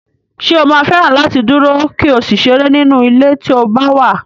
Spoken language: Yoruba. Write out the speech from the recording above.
Ṣé o máa fẹ́ràn láti dúró, kí o sì ṣeré nínú ilé tí o bá wà?